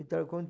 Então, quando